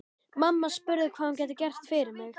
Mamma spurði hvað hún gæti gert fyrir mig.